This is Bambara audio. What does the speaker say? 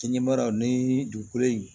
Kinɲɛmaya ni dugukolo in